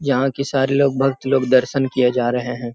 यहाँ के सारे लोग भक्त लोग दर्शन किए जा रहे हैं।